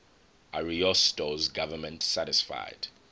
ariosto's government satisfied